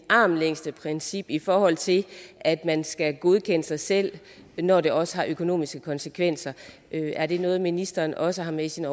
armslængdeprincip i forhold til at man skal godkende sig selv når det også har økonomiske konsekvenser er det noget ministeren også har med i sine